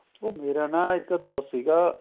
ਉਹ ਮੇਰਾ ਨਾ ਇੱਕ ਦੋਸਤ ਸੀਗਾ